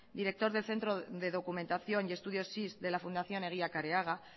director del centro de documentación y estudios siis la fundación eguía careaga